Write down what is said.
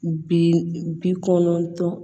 Bi kɔnɔntɔn